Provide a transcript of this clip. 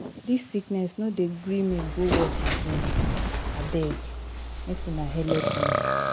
Dis sickness no dey gree me go work again, abeg make una helep me.